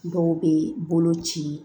Dɔw bɛ bolo ci